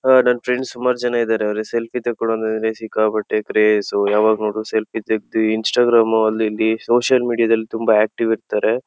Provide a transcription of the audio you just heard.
ಹ ನನ್ ಫ್ರೆಂಡ್ಸ್ ಸುಮಾರ್ ಜನ ಇದಾರೆ ಅವರು ಸೆಲ್ಫಿ ತಕ್ಕೊಳೋದು ಅಂದ್ರೆ ಸಿಕ್ಕಾಪಟ್ಟೆ ಕ್ರೇಜ್ ಯಾವಾಗ್ ನೋಡಿದ್ರು ಸೆಲ್ಫಿ ತೆಗ್ದಿ ಇನ್ಸ್ಟಾಗ್ರಾಮ್ ಅಲ್ಲಿ ಇಲ್ಲಿ ಸೋಷಿಯಲ್ ಮೀಡಿಯಾದಲ್ಲಿ ತುಂಬಾ ಆಕ್ಟಿ ವ್ ಇರ್ತ್ತರೆ.